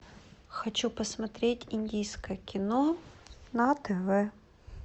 хочу посмотреть индийское кино на тв